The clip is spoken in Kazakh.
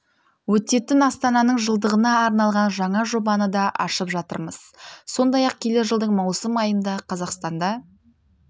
өтетін астананың жылдығына арналған жаңа жобаны да ашып жатырмыз сондай-ақ келер жылдың маусым айында қазақстанда